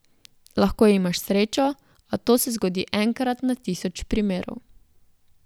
Lahko imaš srečo, a to se zgodi enkrat na tisoč primerov.